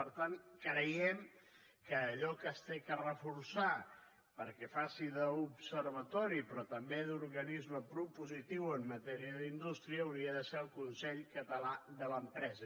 per tant creiem que allò que cal reforçar perquè faci d’observatori però també d’organisme propositiu en matèria d’indústria hauria de ser el consell català de l’empresa